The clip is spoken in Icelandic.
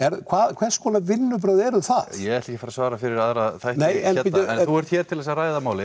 hvers konar vinnubrögð eru það ég ætla ekki að að svara fyrir aðra þætti hérna en þú ert hér til þess að ræða málið